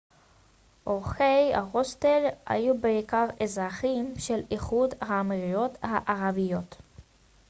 אורחי ההוסטל היו בעיקר אזרחים של איחוד האמירויות הערביות